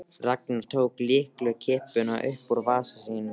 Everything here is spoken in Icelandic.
Ragnar tók lyklakippu upp úr vasa sínum.